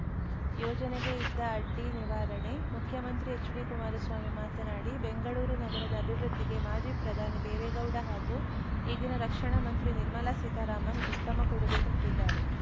ಯೋಜನೆಗೆ ಇದ್ದ ಅಡ್ಡಿ ನಿವಾರಣೆ ಮುಖ್ಯಮಂತ್ರಿ ಎಚ್‌ಡಿಕುಮಾರಸ್ವಾಮಿ ಮಾತನಾಡಿ ಬೆಂಗಳೂರು ನಗರದ ಅಭಿವೃದ್ಧಿಗೆ ಮಾಜಿ ಪ್ರಧಾನಿ ದೇವೇಗೌಡ ಹಾಗೂ ಈಗಿನ ರಕ್ಷಣಾ ಮಂತ್ರಿ ನಿರ್ಮಲಾ ಸೀತಾರಾಮನ್‌ ಉತ್ತಮ ಕೊಡುಗೆ ಕೊಟ್ಟಿದ್ದಾರೆ